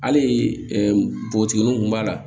Hali npogotigininw kun b'a la